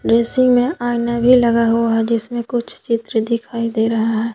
Dressing में आईना भी लगा हुआ जिसमें कुछ चित्र दिखाई दे रहा है।